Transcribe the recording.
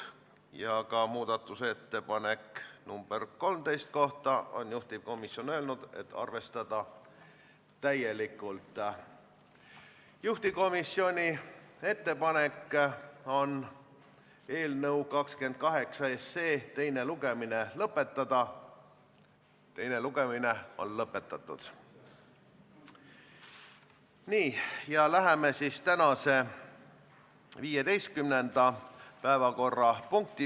Eelnõu muudatusettepaneku nr 1 kohaselt jääksid kuni 3. detsembrini aastal 2024 kehtima erisused määruse artiklite 10 ja 13 lõigete 2, 15 ja 22 puhul.